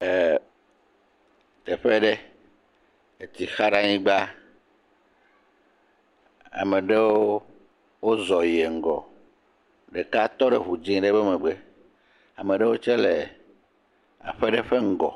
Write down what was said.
Teƒe ɖe etsi xa ɖe anyigba, ame ɖewo wozɔ yie ŋgɔ, ɖeka tɔ ɖe ŋu dzee ɖe be megbe, ame ɖe tsɛ le aƒe ɖe ƒe ŋgɔ.